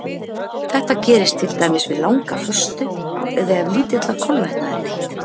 Þetta gerist til dæmis við langa föstu eða ef lítilla kolvetna er neytt.